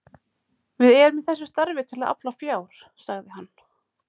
Við erum í þessu starfi til að afla fjár sagði hann.